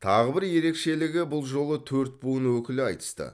тағы бір ерекшелігі бұл жолы төрт буын өкілі айтысты